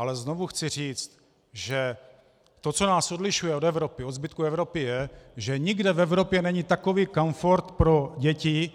Ale znovu chci říct, že to, co nás odlišuje od zbytku Evropy, je, že nikde v Evropě není takový komfort pro děti,